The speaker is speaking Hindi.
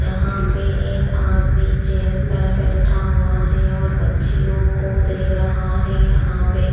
यहाँ पर एक आदमी चेयर पे बैठा हुआ है और बच्चियों को दे रहा है यहाँ पे--